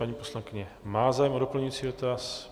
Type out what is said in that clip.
Paní poslankyně má zájem o doplňující dotaz.